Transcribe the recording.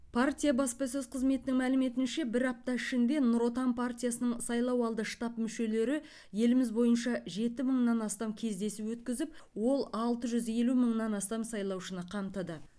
партия баспасөз қызметінің мәліметінше бір апта ішінде нұр отан партиясының сайлауалды штаб мүшелері еліміз бойынша жеті мыңнан астам кездесу өткізіп ол алты жүз елу мыңнан астам сайлаушыны қамтыды